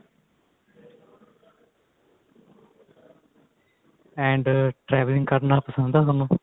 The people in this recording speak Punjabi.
and traveling ਕਰਨਾ ਪਸੰਦ ਏ ਤੁਹਾਨੂੰ